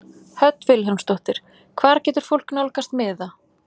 Hödd Vilhjálmsdóttir: Hvar getur fólk nálgast miða?